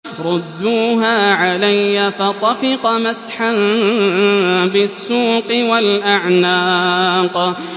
رُدُّوهَا عَلَيَّ ۖ فَطَفِقَ مَسْحًا بِالسُّوقِ وَالْأَعْنَاقِ